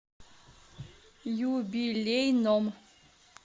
юбилейном